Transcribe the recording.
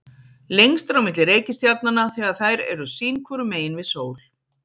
Lengst er á milli reikistjarnanna þegar þær eru sín hvoru megin við sól.